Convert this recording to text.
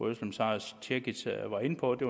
özlem sara cekic var inde på at det